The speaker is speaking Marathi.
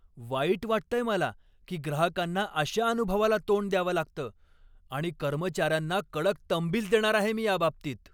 वाईट वाटतंय मला की ग्राहकांना अशा अनुभवाला तोंड द्यावं लागतं आणि कर्मचाऱ्यांना कडक तंबीच देणार आहे मी याबाबतीत.